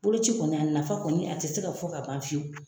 Boloci kɔni a nafa kɔni a tɛ se ka fɔ ka ban fiyewu.